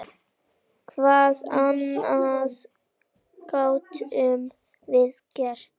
Hvað annað gátum við gert?